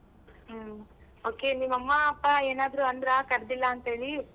ಹ್ಮ್ okay ನಿಮ್ಮಮ್ಮ ಅಪ್ಪ ಏನಾದ್ರೂ ಅಂದ್ರ ಕರ್ದಿಲ್ಲ ಅಂತೇಳಿ?